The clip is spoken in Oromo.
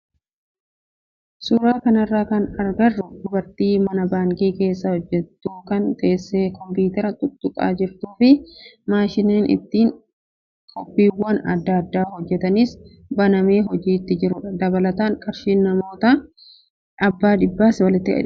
Suuraa kanarraa kan agarru dubartii mana baankii keessa hojjattu kan teessee kompiitara tuttuqaa jirtuu fi maashiniin ittiin koppiiwwan adda addaa hojjatanis banamee hojiitti jirudha. Dabalataan qarshiin noottii abbaa dhibbaas walitti hidhamee jira.